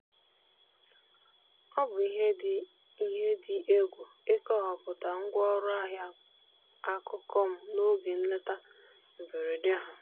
ọ bụ ihe dị ihe dị egwu ịkọwapụta ngwa ọrụ ahịa akụkụ m n'oge nleta mberede ha.